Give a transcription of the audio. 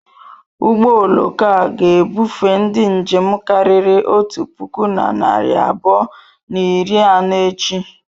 Ụgbọ oloko a ga-ebufe ndi njem karịrị otu puku na narị abụọ na iri anọ echi.